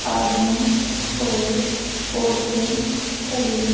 आदमी और औरतें खड़ी--